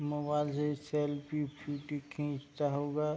mobile से selfie खींचता हुआ --